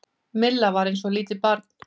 Milla var eins og lítið barn.